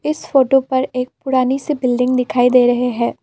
इस फोटो पर एक पुरानी से बिल्डिंग दिखाई दे रहे हैं।